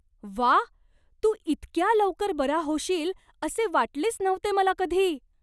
व्वा! तू इतक्या लवकर बरा होशील असे वाटलेच नव्हते मला कधी.